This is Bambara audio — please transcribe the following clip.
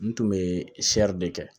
N tun bɛ de kɛ